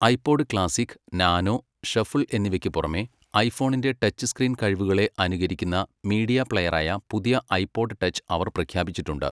IPod classic, nano, shuffle എന്നിവയ്ക്ക് പുറമേ, ഐഫോണിന്റെ ടച്ച് സ്ക്രീൻ കഴിവുകളെ അനുകരിക്കുന്ന മീഡിയ പ്ലെയറായ പുതിയ ഐപോഡ് ടച്ച് അവർ പ്രഖ്യാപിച്ചിട്ടുണ്ട്.